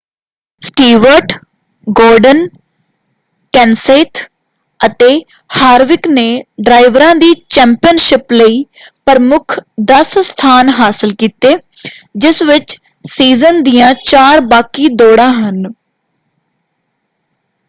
Stewart Gordon Kenseth ਅਤੇ Harvick ਨੇ ਡਰਾਈਵਰਾਂ ਦੀ ਚੈਂਪੀਅਨਸ਼ਿਪ ਲਈ ਪ੍ਰਮੁੱਖ 10 ਸਥਾਨ ਹਾਸਲ ਕੀਤੇ ਜਿਸ ਵਿੱਚ ਸੀਜ਼ਨ ਦੀਆਂ ਚਾਰ ਬਾਕੀ ਦੌੜਾਂ ਹਨ।